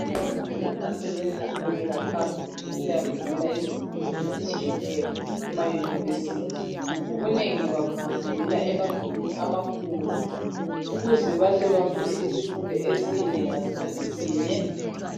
Abafundi asebeqhubekela phambili besiyafundela izifundo ezitshiyeneyo ema university ngobunengi babo bafundela emagumbini amakhulu ukuze bahle bafunde isifundo esinye ngasikhathi sinye